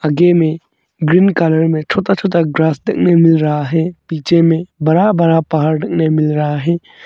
आगे में green colour में छोटा छोटा ग्रास देखने मिल रहा है पीछे में बड़ा बड़ा पहाड़ देखने में मिल रहा है।